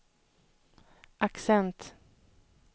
accent